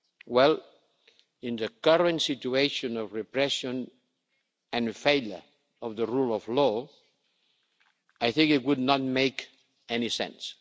Well, in the current situation of repression and failure of the rule of law, I do not think it would make any sense.